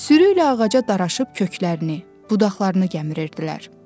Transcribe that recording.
Sürüylə ağaca daraşıb köklərini, budaqlarını gəmirirdilər.